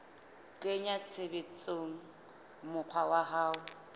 kenya tshebetsong mokgwa wa ho